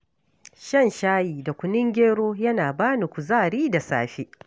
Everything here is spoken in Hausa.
Shan shayi da kunun gero yana ba ni kuzari da safe.